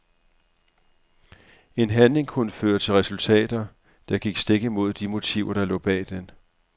En handling kunne føre til resultater, der gik stik imod de motiver der lå bag den.